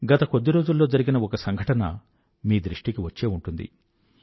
గత కొద్ది రోజుల్లో జరిగిన ఒక సంఘటన మీ దృష్టికి కూదా వచ్చే ఉంటుంది